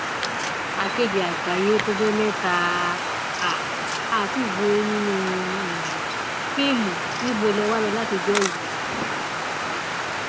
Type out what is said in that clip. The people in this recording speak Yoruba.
akéde àgbáyé ó tọjọ mẹta tá um a ti gbúròó yín nínú um fíìmù níbo lè wà látijọ yìí